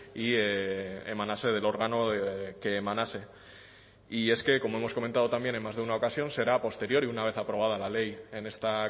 y emanase del órgano que emanase y es que como hemos comentado también en más de una ocasión será a posteriori una vez aprobada la ley en esta